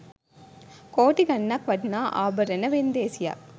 කෝටි ගාණක් වටිනා ආභරණ වෙන්දේසියක්